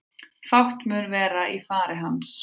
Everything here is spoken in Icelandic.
Fátt mun vera í fari hans